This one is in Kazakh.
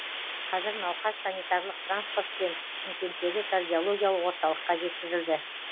қазір науқас санитарлық транспортпен шымкенттегі кардиологиялық орталыққа жеткізілді